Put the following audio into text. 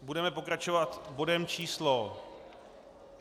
Budeme pokračovat bodem číslo